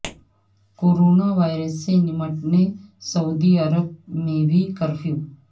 corona virus سے نمٹنے سعودی عرب میں بھی کرفیو